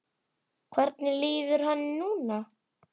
Hvernig líður henni núna?